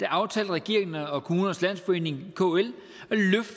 aftalte regeringen og kommunernes landsforening kl